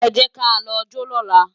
Ẹ jẹ́ ká lọ jó lọ́la